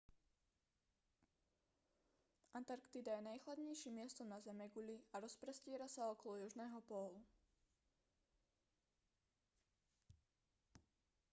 antarktída je najchladnejším miestom na zemeguli a rozprestiera sa okolo južného pólu